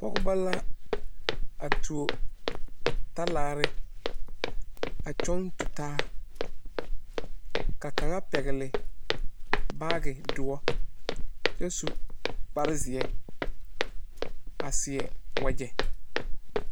Pɔgeba la a tuo talaare a kyɔŋ tutaa ka kaŋa pɛgle baagedoɔ kyɛ su kparzeɛ a seɛ wagyɛ.